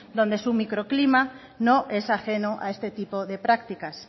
donde su microclima no es ajeno a este tipo de prácticas